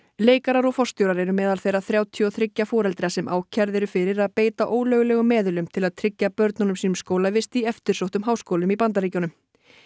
leikarar og forstjórar eru meðal þeirra þrjátíu og þriggja foreldra sem ákærð eru fyrir að beita ólöglegum meðölum til að tryggja börnum sínum skólavist í eftirsóttum háskólum í Bandaríkjunum